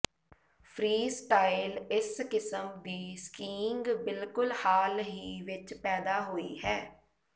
freestyle ਇਸ ਕਿਸਮ ਦੀ ਸਕੀਇੰਗ ਬਿਲਕੁਲ ਹਾਲ ਹੀ ਵਿੱਚ ਪੈਦਾ ਹੋਈ ਹੈ